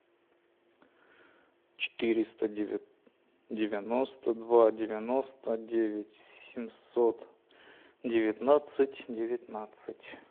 четыреста девяносто два девяносто девять семьсот девятнадцать девятнадцать